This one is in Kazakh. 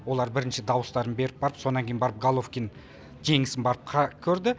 олар бірінші даустарын беріп барып сонан кейін барып головкин жеңісін барып қарап көрді